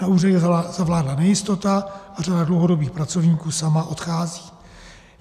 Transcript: Na úřadě zavládla nejistota a řada dlouhodobých pracovníků sama odchází.